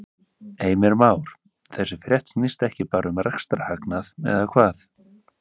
Heimir Már: Þessi frétt snýst ekki bara um rekstrarhagnað eða hvað?